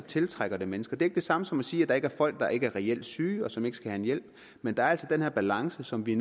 tiltrækker mennesker det er ikke det samme som at sige at der er folk der ikke er reelt syge og som ikke skal have hjælp men der er altså den her balance som vi